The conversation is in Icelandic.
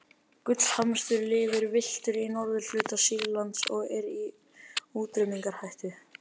gullhamstur lifir villtur í norðurhluta sýrlands og er í útrýmingarhættu